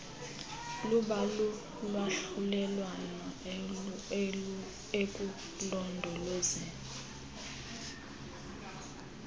luba lulwahlulelwano ekulondolozeni